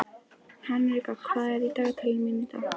Henrika, hvað er í dagatalinu mínu í dag?